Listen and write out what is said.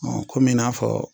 Ɔn Kɔmi i n'a fɔ